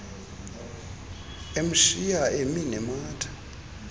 emshiya emi nematha